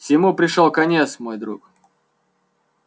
всему пришёл конец мой друг